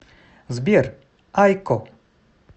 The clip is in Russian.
сбер айкко